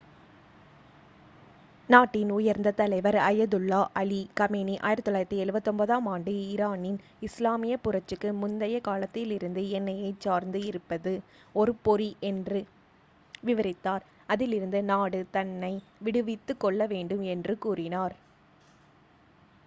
"நாட்டின் உயர்ந்த தலைவர் அயதுல்லா அலி கமேனி 1979-ஆம் ஆண்டு ஈரானின் இஸ்லாமிய புரட்சிக்கு முந்தைய காலத்திலிருந்து எண்ணெய்யைச் சார்ந்து இருப்பது "ஒரு பொறி" என்று விவரித்தார் அதிலிருந்து நாடு தன்னை விடுவித்துக் கொள்ளவேண்டும் என்றும் கூறினார்.